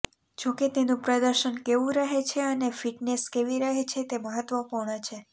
જો કે તેનું પ્રદર્શન કેવું રહે છે અને ફિટનેશ કેવી રહે છે તે મહત્ત્વપૂર્ણ છે